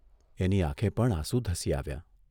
એની આંખે પણ આંસુ ધસી આવ્યાં.